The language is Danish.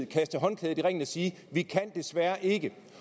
kaste håndklædet i ringen og sige vi kan desværre ikke